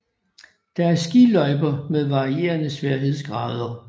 Der er skiløjper med varierende sværhedsgrader